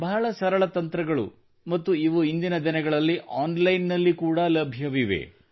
ಬಹಳ ಸರಳ ತಂತ್ರಗಳು ಮತ್ತು ಇವು ಇಂದಿನ ದಿನಗಳಲ್ಲಿ ಆನ್ ಲೈನ್ ನಲ್ಲಿ ಕೂಡಾ ಲಭ್ಯವಿವೆ